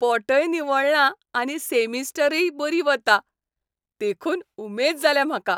पोटय निवळ्ळां आनी सेमिस्टरय बरी वता, देखून उमेद जाल्या म्हाका.